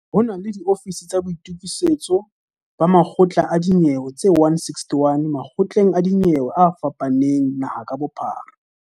Ho na le diofisiri tsa boitukisetso ba makgotla a dinyewe tse 161 makgotleng a dinyewe a fapaneng naheng ka bophara.